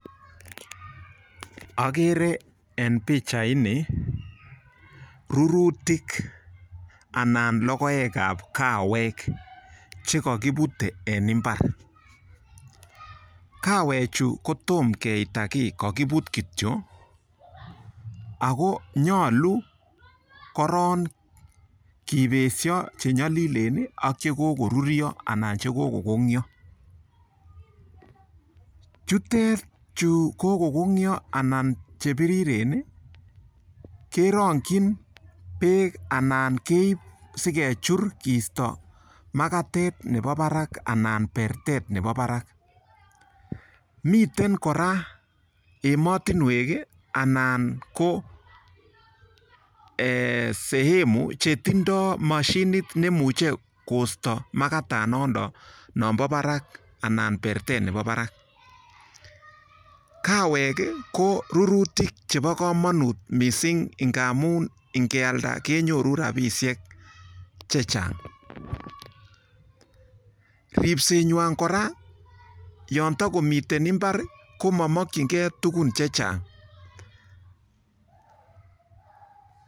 Akere en pichaini rurutik anan logoekab kawek chekakiputei en mbar. Kawechu ko tom keita kiy kakiput kitio. Ako nyolu koron kipesio chenyolilen ak chekokoruryo anan kokokonyo. Chutet chu kokokonyo anan che piriren, kerong'chin beek anan keip pekechur keisto makatet nebo barak anan pertet nebo barak. Miten kora emotinwek anan ko sehemu che tindoi mashinit neimuchei koisto makatet nondok anan pertet nebo barak, Kawek ko rurutik chebo komonut mising ngamun ngealda kenyoru rabishek chechang.